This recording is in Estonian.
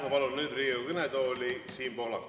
Ma palun nüüd Riigikogu kõnetooli Siim Pohlaku.